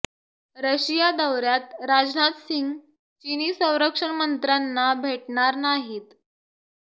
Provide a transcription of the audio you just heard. Russia दौऱ्यात राजनाथ सिंह चिनी संरक्षण मंत्र्यांना भेटणार नाहीत